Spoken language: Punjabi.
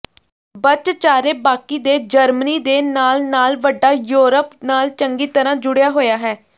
ਬਚਚਾਰੇ ਬਾਕੀ ਦੇ ਜਰਮਨੀ ਦੇ ਨਾਲ ਨਾਲ ਵੱਡਾ ਯੂਰਪ ਨਾਲ ਚੰਗੀ ਤਰ੍ਹਾਂ ਜੁੜਿਆ ਹੋਇਆ ਹੈ